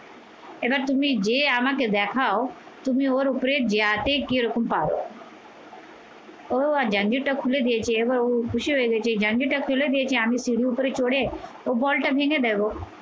এবার তুমি যেয়ে আমাকে দেখা তুমি ওর উপরে জ্ঞাতে কি রকম পাও ও এবার খুলে দিয়েছে, এবার ও খুশি হয়ে গেছে এই খুলে দিয়েছে আমি সিরির উপরে চড়ে ও বলটা ভেঙে দেবো।